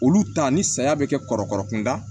Olu ta ni saya bɛ kɛ kɔrɔbɔrɔ kunda